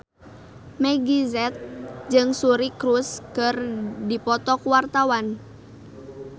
Meggie Z jeung Suri Cruise keur dipoto ku wartawan